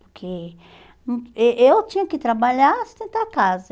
Porque hum eh eu tinha que trabalhar, sustentar a casa.